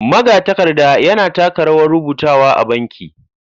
Magatakarda yana taka rawar rubutawa a banki.